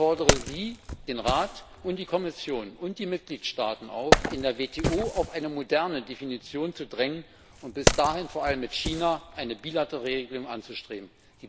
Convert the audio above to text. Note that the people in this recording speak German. Ich fordere Sie, den Rat, die Kommission und die Mitgliedstaaten auf, in der WTO auf eine moderne Definition zu drängen und bis dahin vor allem mit China eine bilaterale Regelung anzustreben.